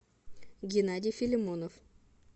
геннадий филимонов